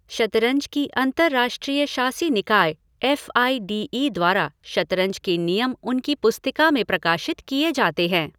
शतरंज की अंतरराष्ट्रीय शासी निकाय, एफ़ आई डी ई द्वारा शतरंज के नियम उनकी पुस्तिका में प्रकाशित किए जाते हैं।